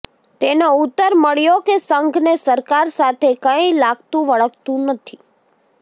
તેનો ઉત્તર મળ્યો કે સંઘ ને સરકાર સાથે કંઈ લાગતુંવળગતું નથી